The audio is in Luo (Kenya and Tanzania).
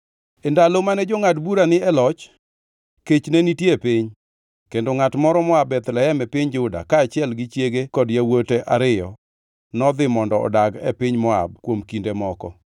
E ndalo mane jongʼad bura ni e loch, kech ne nitie e piny, kendo ngʼat moro moa Bethlehem e piny Juda, kaachiel gi chiege kod yawuote ariyo, nodhi mondo odag e piny Moab kuom kinde moko.